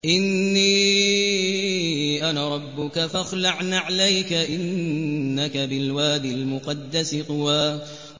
إِنِّي أَنَا رَبُّكَ فَاخْلَعْ نَعْلَيْكَ ۖ إِنَّكَ بِالْوَادِ الْمُقَدَّسِ طُوًى